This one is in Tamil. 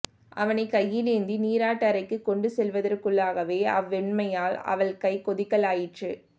அவனை கையிலேந்தி நீராட்டறைக்கு கொண்டுசெல்வதற்குள்ளாகவே அவ்வெம்மையால் அவள் கை கொதிக்கலாயிற்று